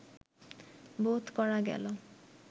বোধ করা গেল